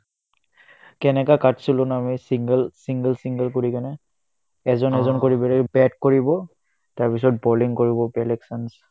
কেনেকুৱা কাটছিলো না আমি single single single কৰি কিনে এজন এজন কৰি বোলে bat কৰিব তাৰপিছত bowling কৰিব বেলেগ chance